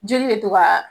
Jeli bɛ to ka